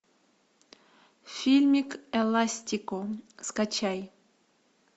фильмик эластико скачай